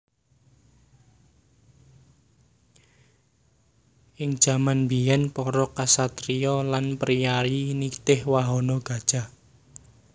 Ing jaman mbiyèn para ksatriya lan priyayi nitih wahana gajah